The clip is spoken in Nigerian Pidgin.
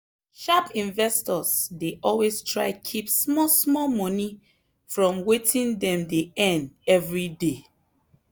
sharp investors dey always try keep small small money from wetin dem dey earn every day.